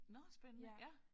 Nåh spændende ja